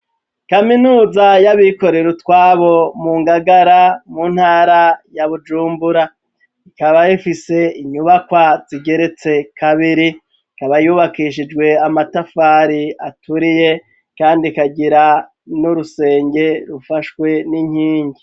Kaminuza y'abikorero utwabo mu Ngagara mu ntara ya Bujumbura ikaba ifise inyubakwa zigeretse kabiri ikaba yubakishijwe amatafari aturiye kandi ikagira n'urusenge rufashwe n'inkingi